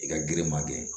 I ka girin ma kɛ